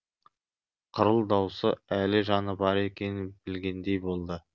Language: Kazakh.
қырыл даусы әлі жаны бар екенін білдігендей болды